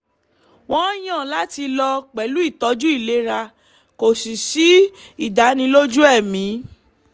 wọ́n yàn láti lọ pẹ̀lú îtọ̌jǔ îlera kò sì sí ìdánilójú ẹ̀mí